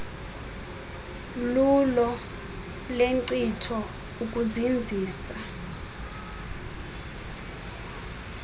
lulo lenkcitho ukuzinzisa